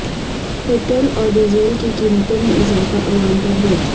petrol اور diesel کی قیمتوں میں اضافہ عوام پر بوجھ